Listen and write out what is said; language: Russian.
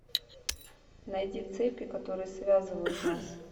найди цепи которые связывают нас